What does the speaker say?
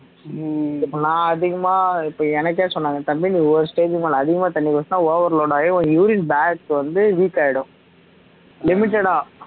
நான் அதிகமா இப்ப எனக்கே சொன்னாங்க தம்பி நீ ஒரு stage க்கு மேல அதிகமா தண்ணி குடிச்சா overload ஆகி உனக்கு urine bag வந்து weak ஆகிடும் limited ஆ